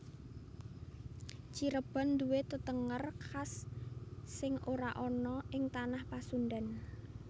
Cirebon nduwe tetenger khas sing ora ana ing tanah Pasundan